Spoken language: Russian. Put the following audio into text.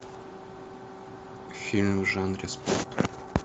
фильм в жанре спорт